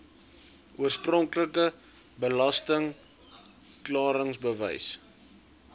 oorspronklike belasting klaringsbewys